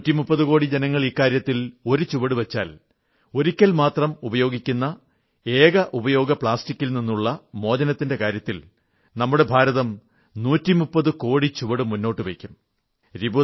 130 കോടി ജനങ്ങൾ ഈ ഇക്കാര്യത്തിൽ ഒരു ചുവടു വച്ചാൽ ഒരിക്കൽ മാത്രം ഉപയോഗിക്കുന്ന ഏകോപയോഗ പ്ലാസ്റ്റികിൽ നിന്നുള്ള മോചനത്തിന്റെ കാര്യത്തിൽ നമ്മുടെ ഭാരതം 130 കോടി ചുവടു മുന്നോട്ടു വയ്ക്കും